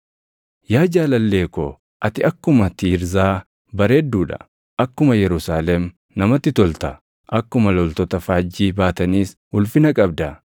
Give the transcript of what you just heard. Yaa jaalallee ko, ati akkuma Tiirzaa bareedduu dha; akkuma Yerusaalem namatti tolta; akkuma loltoota faajjii baataniis ulfina qabda.